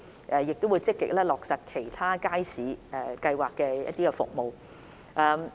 我們亦會積極落實其他街市計劃的服務。